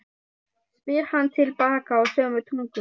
spyr hann til baka á sömu tungu.